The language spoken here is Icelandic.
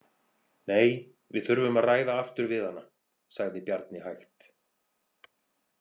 Nei, við þurfum að ræða aftur við hana, sagði Bjarni hægt.